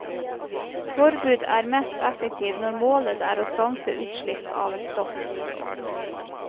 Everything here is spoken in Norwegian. Forbud er mest effektivt når målet er å stanse utslipp av et stoff.